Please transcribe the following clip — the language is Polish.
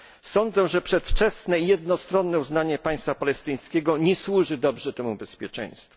Sądzę, że przedwczesne jednostronne uznanie państwa palestyńskiego nie służy dobrze temu bezpieczeństwu.